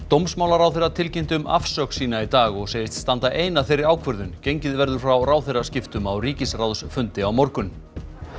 dómsmálaráðherra tilkynnti um afsögn sína í dag og segist standa ein að þeirri ákvörðun gengið verður frá ráðherraskiptum á ríkisráðsfundi á morgun